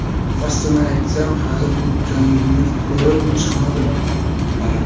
Rostini aytsam, hali bu jangni ko‘rib chiqmadim.